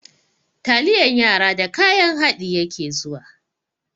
Taliyan yara da kayan haɗi yake zuwa.